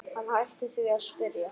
Hann hætti því að spyrja.